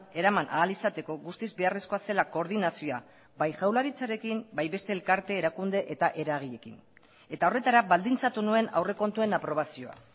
eraman ahal izateko guztiz beharrezkoa zela koordinazioa bai jaurlaritzarekin bai beste elkarte erakunde eta eragileekin eta horretara baldintzatu nuen aurrekontuen aprobazioa